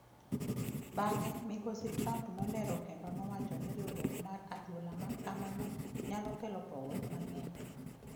Bang’e, Migosi Trump nolero kendo nowacho ni riwruok mar adhula ma kamano nyalo kelo pogruok mang'eny.